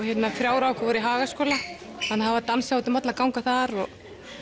þrjár af okkur voru í Hagaskóla það var dansað út um alla ganga þar og